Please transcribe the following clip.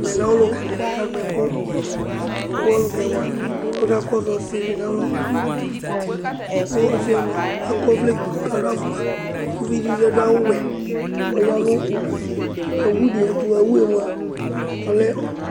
Ɛmɛlɛ ɔlʋka di la kanʋ ɛku kʋ ɔlukɛ kakɔsu ɔsidi nu alɔ kʋ ɔsi mʋa akɔ ɔvlɛ gblʋ kʋ adu afʋkpa kʋ ʋvidí bi adu wɛ kʋ ɔya nʋ awʋ di ɛtu Awu 'e mʋa ɔlɛ